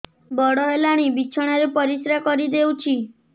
ବଡ଼ ହେଲାଣି ବିଛଣା ରେ ପରିସ୍ରା କରିଦେଉଛି